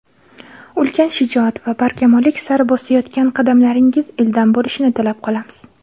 ulkan shijoat va barkamollik sari bosayotgan qadamlaringiz ildam bo‘lishini tilab qolamiz!.